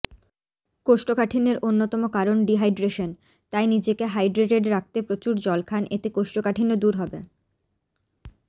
কোষ্ঠকাঠিন্যের অন্যতম কারণ ডিহাইড্রেশন তাই নিজেকে হাইড্রেটেড রাখতে প্রচুর জল খান এতে কোষ্ঠকাঠিন্য দূর হবে